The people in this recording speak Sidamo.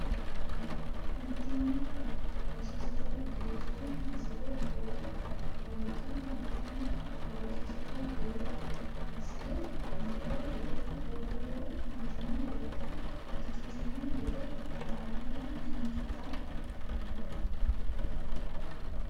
mittimma oososira Geerchu Misile wolqa mittimma oososira Geerchu Misile Misile Geerchu oososira mittimma wolqa ikkitino gede amaalanna Ninke xaa manna !